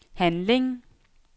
handling